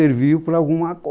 para alguma coisa